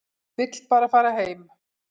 Vill bara fara heim.